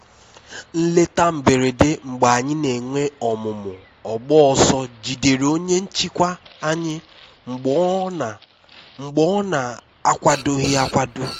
nleta mberede mgbe anyị n'enwe ọmụmụ ọgbọ-ọsọ jidere onye nchịkwa anyị mgbe ọ na mgbe ọ na akwadoghi akwado